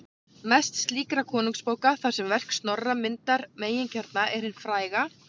Mest slíkra konungabóka, þar sem verk Snorra myndar meginkjarna, er hin fræga